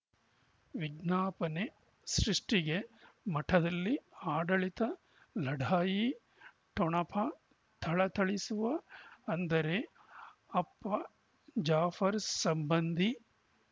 ವಿಜ್ಞಾಪನೆ ಸೃಷ್ಟಿಗೆ ಮಠದಲ್ಲಿ ಆಡಳಿತ ಲಢಾಯಿ ಠೊಣಪ ಥಳಥಳಿಸುವ ಅಂದರೆ ಅಪ್ಪ ಜಾಫರ್ ಸಂಬಂಧಿ